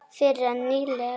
Fyrr en nýlega.